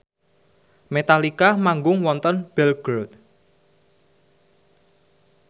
Metallica manggung wonten Belgorod